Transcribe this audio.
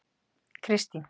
Kristin